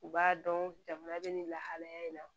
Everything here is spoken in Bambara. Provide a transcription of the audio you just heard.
U b'a dɔn jamana bɛ nin lahalaya in na